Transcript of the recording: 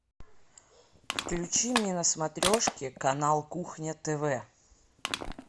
включи мне на смотрешке канал кухня тв